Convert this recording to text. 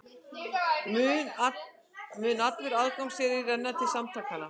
Mun allur aðgangseyrir renna til samtakanna